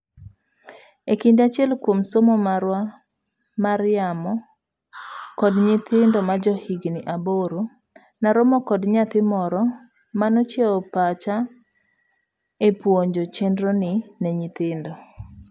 Ekinde achiel kuom somo marwa mar yamo kod nyithindo majo higni aboro, naromo kod nyathi moro manochiewo pachaepuonjo chenroni ne nyithindo.